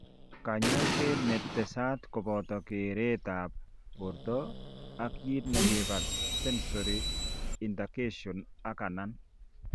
Kanyaiset ne tesat koboto keret ab borto, ak kit negibare sensory intergartion ak anan